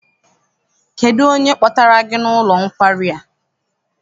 Kedụ onye kpọtara gị n'ụlọ nkwari a?